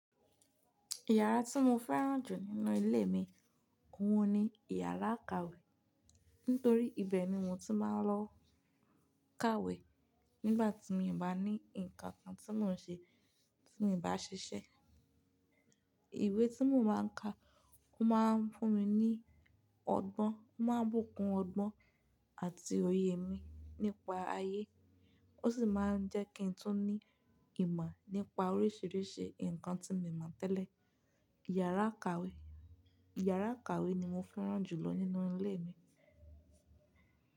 Yàrá tí mo fẹ́ràn jù nínú ilé òhun ni iyàrá ìkàwé. Nítorí ibẹ̀ ni mo ti máa ń lọ káwé nígbà tí mí ó bá ní nǹkan kan tí mò ń ṣe tí mo bá ṣiṣẹ́. Ìwé tí mo máa ń ka, ó máa ń fún mi ní ọgbọ́n, ó máa ń bùkún ọgbọ́n àti òye mi nípa ayé. Ó sì máa ń jẹ́ kí n tún ní ìmọ̀ nípa oríṣiríṣi nǹkan tí mo mọ̀ tẹ́lẹ̀. Yàrá ìkàwé, iyàrá ìkàwé ni mo fẹ́ràn jù lọ nínú ilé mi.